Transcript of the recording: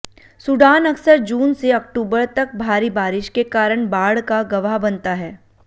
Sudan अक्सर जून से अक्टूबर तक भारी बारिश के कारण बाढ़ का गवाह बनता है